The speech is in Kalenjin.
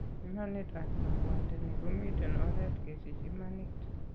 Imanit ab kabwateni komiten oret kesich imanit